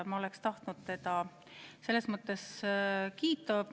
Ma oleksin tahtnud teda kiita.